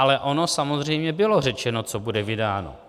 Ale ono samozřejmě bylo řečeno, co bude vydáno.